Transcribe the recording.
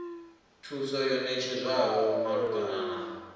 thuso yo ṋetshedzwaho malugana na